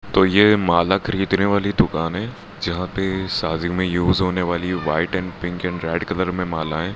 तो ये माला खरीदने वाली दुकान है जहां पे शादी में युज होने वाली white and pink and red colour में मालाएं--